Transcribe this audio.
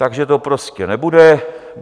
Takže to prostě nebude.